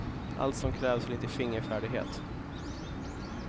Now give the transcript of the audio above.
Allt som krävs är lite fingerfärdighet.